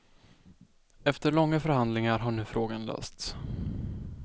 Efter långa förhandlingar har nu frågan lösts.